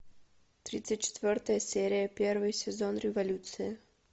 тридцать четвертая серия первый сезон революция